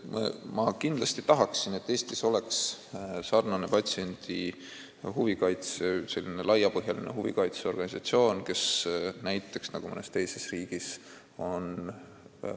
Ma kindlasti tahaksin, et Eestis oleks samasugune laiapõhjaline patsientide huvide kaitse organisatsioon, nagu mõnes teises riigis on.